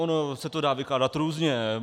Ono se to dá vykládat různě.